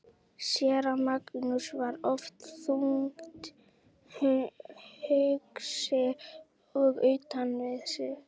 Séra Magnús var oft þungt hugsi og utan við sig.